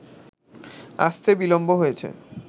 আসতে বিলম্ব হয়েছে